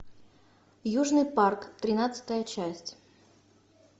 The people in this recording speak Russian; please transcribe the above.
южный парк тринадцатая часть